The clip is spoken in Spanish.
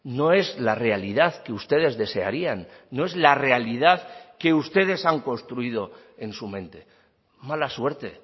no es la realidad que ustedes desearían no es la realidad que ustedes han construido en su mente mala suerte